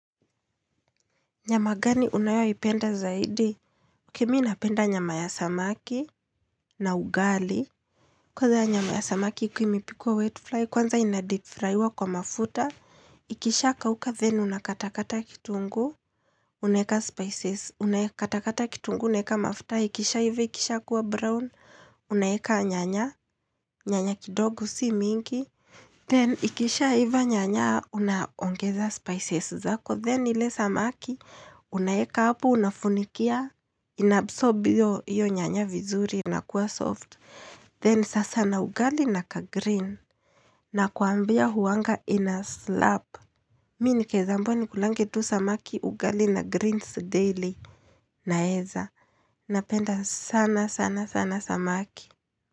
Nyama gani unayoipenda zaidi? Okey mi napenda nyama ya samaki na ugali. Kwanza nyama ya samaki ikiwa imepikwa wet fry, kwanza inadeep fraiwa kwa mafuta. Ikishakauka, then unakata kata kitunguu, unaeka spices, unaeka katakata kitunguu, unaeka mafuta, ikishaiva ikishakuwa brown, unaeka nyanya, nyanya kidogo si mingi. Then ikisha iva nyanya unaongeza spices zako, then ile samaki, unaeka hapo, unafunikia, inabsorb hiyo nyanya vizuri, inakuwa soft. Then sasa na ugali na kagreen, nakwambia huanga inaslap. Mi nikieza ambiwa nikulange tu samaki ugali na greens daily, naeza, napenda sana sana sana samaki.